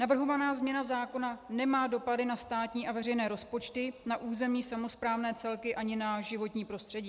Navrhovaná změna zákona nemá dopady na státní a veřejné rozpočty, na územní samosprávné celky ani na životní prostředí.